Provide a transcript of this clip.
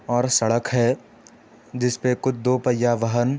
और सड़क है | जिसपे कुछ दो पहिया वाहन --